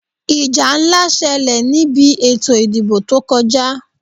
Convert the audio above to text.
Ìjà ńlá ṣẹlẹ̀ ní bi ètò ìdìbò tó kọjá.